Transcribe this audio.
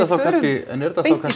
en er